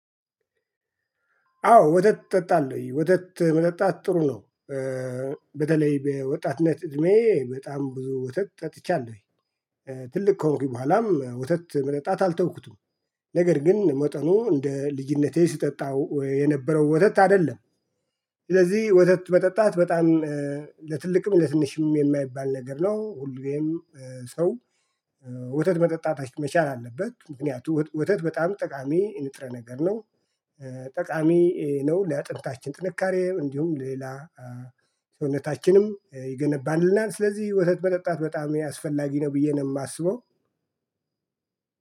አዎ ወተት እጠጣለሁ ወተት መጠጣት ጥሩ ነው። በተለይ በወጣትነት እድሜ በጣም ብዙ ወተት ጠጥቻለሁ። ትልቅ ከሆንኩኝ በኋላም ወተት መጠጣት አልተውኩትም። ነገር ግን መጠኑ እንደ ልጅነቴ ስጠጣው የነበረው ወተት አይደለም። ስለዚህ ወተት መጠጣት በጣም ለትልቅም ለትንሽም የማይባል ነገር ነው። ሁሌም ሰው ወተት መጠጣት መቻል አለበት። ምክንያቱም ወተት በጣም ጠቃሚ ንጥረ ነገር ነው። ጠቃሚ ነው ለአጥንታችን ጥንካሬ እንዲሁም ሌላ ሰውነታችንም ይገነባልናል። ስለዚህ ወተት መጠጣት በጣም አስፈላጊ ነው ብዬ ነው የማስበው።